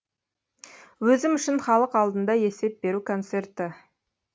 өзім үшін халық алдында есеп беру концерті